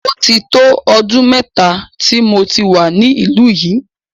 Ó ti tó ọdún mẹ́ta tí mo ti wà ní ìlú yìí.